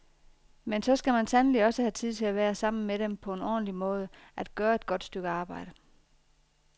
Men så skal man sandelig også have tid til at være sammen med dem på en ordentlig måde, at gøre et godt stykke arbejde.